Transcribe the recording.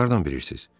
Siz hardan bilirsiz?